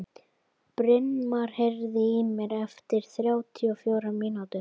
Brynmar, heyrðu í mér eftir þrjátíu og fjórar mínútur.